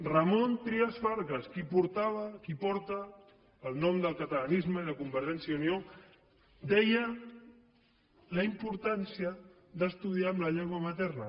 ramon trias fargas qui portava qui porta el nom del catalanisme i de convergència i unió deia la importància d’estudiar en la llengua materna